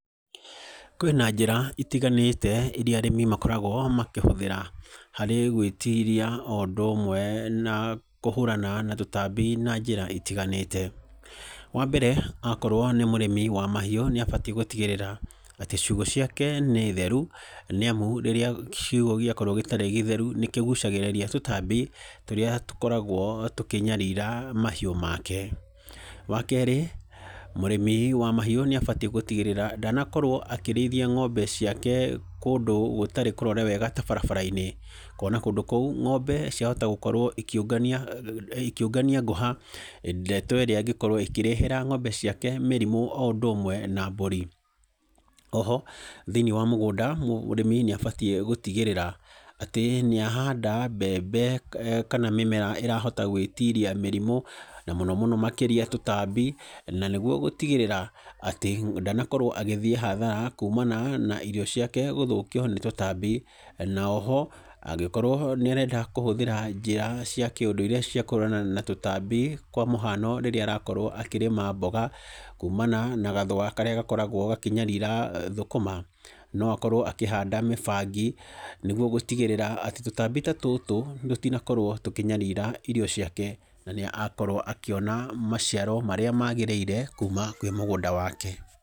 Kwĩ na njĩra itiganĩte iria arĩmi makoragwo makĩhũthĩra harĩ gwĩtiria o ũndũ ũmwe na kũhũrana na tũtambi na njĩra itiganĩte. Wa mbere okorwo nĩ mũrĩmi wa mahiũ nĩ abatiĩ gũtigĩrĩra atĩ ciugũ ciake nĩ theru nĩ amu rĩrĩa kiugũ gĩkorwo gĩtarĩ gĩtheru nĩ kĩgucagĩrĩria tũtambi tũria tũkoragwo tũkĩnyarira mahiũ make. Wa keerĩ, mũrĩmi wa mahiũ nĩ abatiĩ gũtigĩrĩra ndanakorwo akĩrĩithia ngombe ciake kũndũ gũtarĩ kũrore wega ta barabara-inĩ, kuona kũndũ kũu ngombe ciahota gũkorwo ikĩũngania ngũha, ndeto ĩrĩa ĩngĩkorwo ĩkĩrehera ngombe ciake mĩrimũ o ũndũ ũmwe na mbũri. Mũrĩmi nĩ abatiĩ gũtigĩrĩra atĩ nĩahanda mbembe kana mĩmera ĩrahota gwĩtiria mĩrimũ na mũno mũno makĩria tũtambi na nĩguo gũtigĩrĩra atĩ ndanakorwo agĩthiĩ hathara kuumana na irio ciake gũthũkio nĩ tũtambi. Na o ho angĩkorwo nĩ arenda kũhũthĩra njĩra cia ũndũire cia kũhũrana na tũtambi, kwa mũhano rĩrĩa arakorwo akĩrĩma mboga kumana na gathũa karĩa gakoragwo gakĩnyarira thũkũma, no akorwo akĩhanda mĩbangi nĩguo gũtigĩrĩra atĩ tíũtmbi ta tũtũ tũtinakorwo tũkĩnyarira irio ciake, na nĩ akorwo akĩona maciaro marĩa maagĩrĩire kuma kwĩ mũgũnda wake.